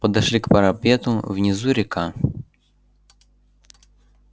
подошли к парапету внизу река